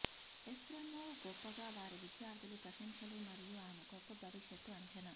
Efremov గొప్పగా వారి విద్యార్థులు ప్రశంసలు మరియు ఆమె గొప్ప భవిష్యత్తు అంచనా